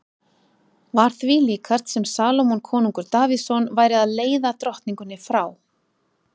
Var því líkast sem Salómon konungur Davíðsson væri að leiða drottningunni frá